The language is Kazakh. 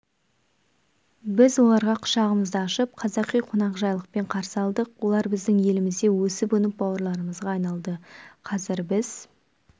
біз оларға құшағымызды ашып қазақи қонақжайлылықпен қарсы алдық олар біздің елімізде өсіп-өніп бауырларымызға айналды қазір біз